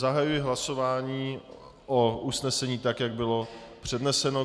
Zahajuji hlasování o usnesení, tak jak bylo předneseno.